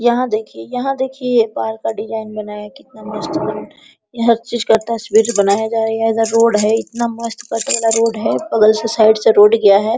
यहाँ देखिए यहाँ देखिए ये पार्क का डिजाइन बनाया कितना मस्त बन रहा है यहाँ हर चीज़ का तस्वीर बनाया जायगा इधर रोड है इतना मस्त पथरीला रोड है बगल से साइड से रोड गया है।